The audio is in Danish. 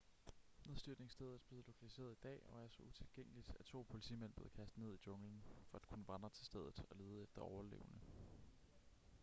nedstyrtningsstedet blev lokaliseret i dag og er så utilgængeligt at to politimænd blev kastet ned i junglen for at kunne vandre til stedet og lede efter overlevende